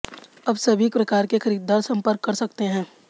अब सभी प्रकार के खरीददार सम्पर्क कर सकते हैं